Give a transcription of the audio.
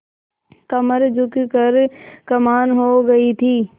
कमर झुक कर कमान हो गयी थी